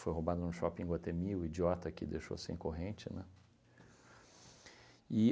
Foi roubada no shopping em Iguatemi, o idiota aqui deixou sem corrente, né?